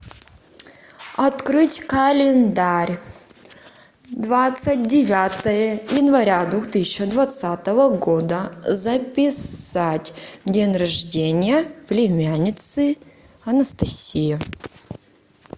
открыть календарь двадцать девятое января две тысячи двадцатого года записать день рождения племянницы анастасии